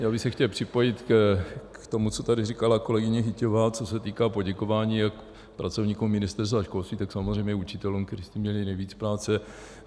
Já bych se chtěl připojit k tomu, co tady říkala kolegyně Hyťhová, co se týká poděkování jak pracovníkům Ministerstva školství, tak samozřejmě učitelům, kteří s tím měli nejvíc práce.